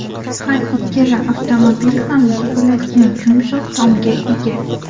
Har ikkala avtomobil ham yig‘iladigan yumshoq tomga ega.